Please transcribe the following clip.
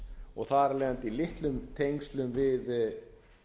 og þar af leiðandi í litlum tengslum við